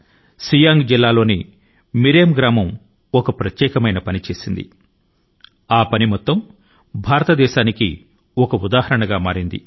సియాంగ్ జిల్లా మిరెమ్ అనే పల్లె ఒక విశిష్ట కార్యానికి పూనుకొంది అది భారతదేశాని కి అంతటి కి ఒక ప్రేరణ గా నిలచింది